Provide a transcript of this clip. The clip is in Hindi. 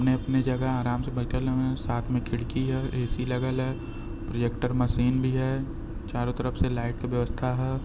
अपने-अपने जगह आराम से बईठल हऊवन साथ में खिड़की है ए.सी. लगल ह। प्रोजेक्टर मशीन भी ह। चारों तरफ से लाइट क व्यवस्था ह।